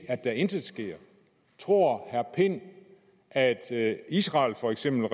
at der intet sker tror herre pind at at israel for eksempel